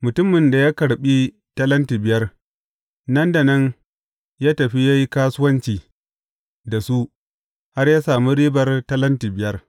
Mutumin da ya karɓi talenti biyar, nan da nan ya tafi ya yi kasuwanci da su har ya sami ribar talenti biyar.